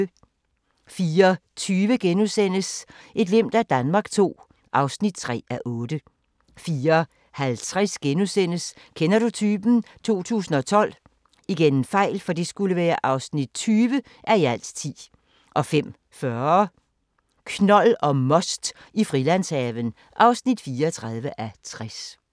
04:20: Et glimt af Danmark II (3:8)* 04:50: Kender du typen? 2012 (20:10)* 05:40: Knold og most i Frilandshaven (34:60)